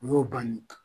U y'o banni ye